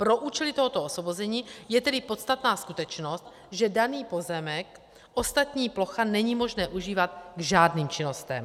Pro účely tohoto osvobození je tedy podstatná skutečnost, že daný pozemek ostatní plocha není možné užívat k žádným činnostem.